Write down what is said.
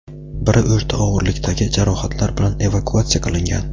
biri o‘rta og‘irlikdagi jarohatlar bilan evakuatsiya qilingan.